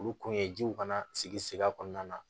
Olu kun ye jiw kana sigi sigi a kɔnɔna na